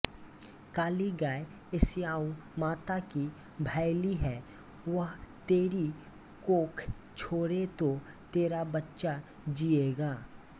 काली गाय स्याऊ माता की भायली है वह तेरी कोख छोड़े तो तेरा बच्चा जियेगा